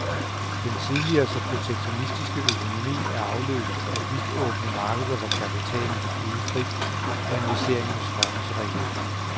Den tidligere så protektionistiske økonomi er afløst af vidtåbne markeder, hvor kapitalen kan flyde frit, og investeringer strømmer til regionen.